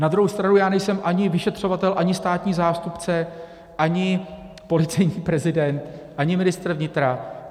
Na druhou stranu já nejsem ani vyšetřovatel, ani státní zástupce, ani policejní prezident, ani ministr vnitra.